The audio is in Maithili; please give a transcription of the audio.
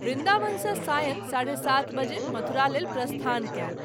वृन्दावन सँ सायं ७.३० बजे मथुरा लेल प्रस्थान कएल।